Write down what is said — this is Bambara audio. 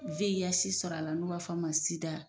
VIH sɔrɔ a la n'u b'a fɔ a ma sida.